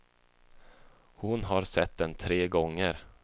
Hon har sett den tre gånger.